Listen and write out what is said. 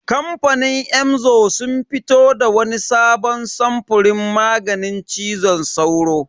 Kamfanin Emzor sun fito da wani sabon samfurin maganin cizon sauro.